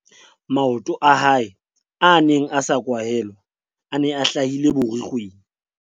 maoto a hae a neng a sa kwahelwa a ne a hlahile borukgweng